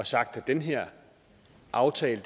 sagt at den her aftale